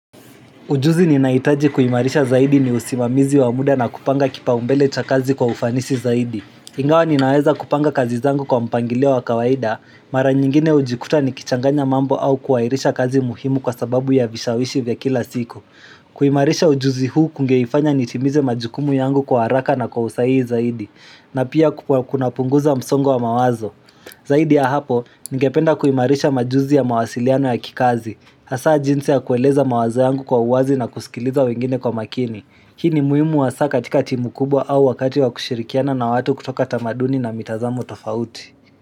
Ujuzi ninahitaji kuimarisha zaidi ni usimamizi wa muda na kupanga kipaumbele cha kazi kwa ufanisi zaidi. Ingawa ninaweza kupanga kazi zangu kwa mpangilio wa kawaida, mara nyingine hujikuta nikichanganya mambo au kuairisha kazi muhimu kwa sababu ya vishawishi vya kila siku. Kuimarisha ujuzi huu kungeifanya nitimize majukumu yangu kwa haraka na kwa usahihi zaidi, na pia kuna punguza msongo wa mawazo. Zaidi ya hapo, ningependa kuimarisha majuzi ya mawasiliano ya kikazi, hasa jinsi ya kueleza mawaza yangu kwa uwazi na kusikiliza wengine kwa makini. Hii ni muhimu hasa katika timu kubwa au wakati wa kushirikiana na watu kutoka tamaduni na mitazamo tofauti.